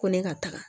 Ko ne ka taga